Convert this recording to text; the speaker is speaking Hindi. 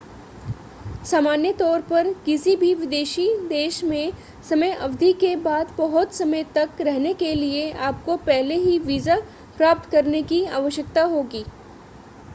सामान्य तौर पर किसी भी विदेशी देश में समय अवधि के बाद बहुत समय तक रहने के लिए आपको पहले ही वीज़ा प्राप्त करने की आवश्यकता होगी